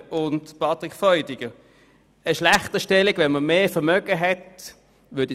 Wenn man mehr Vermögen hat, würde ich auch nicht von einer Schlechterstellung sprechen, Herr Grossrat Freudiger.